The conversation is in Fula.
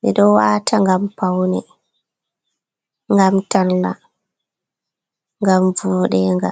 ɓe ɗo wata ngam paune, ngam talla, ngam vudenga.